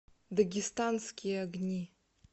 дагестанские огни